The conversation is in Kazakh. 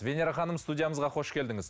венера ханым студиямызға қош келдіңіз